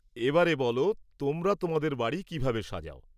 এ বারে বলো তোমরা তোমাদের বাড়ি কীভাবে সাজাও?